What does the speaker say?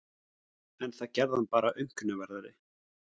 En það gerði hann bara aumkunarverðari.